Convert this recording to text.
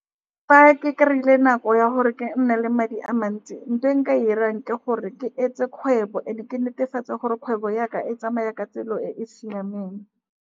Fa ke kry-ile nako ya gore ke nne le madi a mantsi, nthoe nka e 'irang, ke gore ke etse kgwebo and-e ke netefatse gore kgwebo ya ka e tsamaya ka tsela e e siameng.